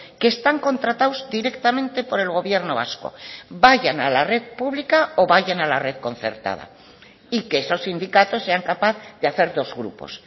que están contratados directamente por el gobierno vasco vayan a la red pública o vayan a la red concertada y que esos sindicatos sean capaz de hacer dos grupos